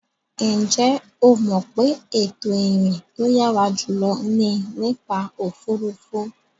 Ǹjẹ́ o mọ̀ pé ètò ìrìn tó yàrá jùlọ ni nípa òfuurufú.